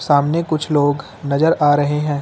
सामने कुछ लोग नजर आ रहे हैं।